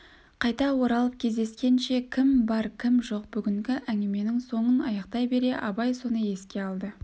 қайта оралып кездескенше кім бар кім жоқ бүгінгі әңгіменің соңын аяқтай бере абай соны еске алды